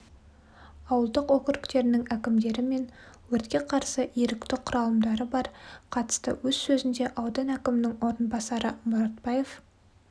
ауылдық округтерінің әкімдері мен өртке қарсы ерікті құралымдары қатысты өз сөзінде аудан әкімінің орынбасары мұратбаев